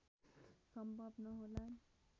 सम्भव नहोलान्